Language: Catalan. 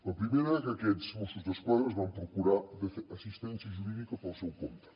la primera que aquests mossos d’esquadra es van procurar assistència jurídica pel seu compte